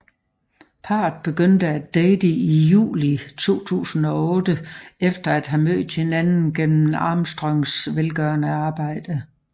Parret begyndte at date i juli 2008 efter at have mødt hinanden gennem Armstrongs velgørende arbejde